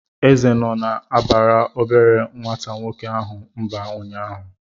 Eze nọ na-abara obere nwata nwoke ahụ mba ụnyaahụ.